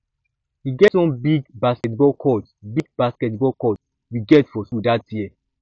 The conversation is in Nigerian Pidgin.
e get one big basketball court big basketball court we get for school dat year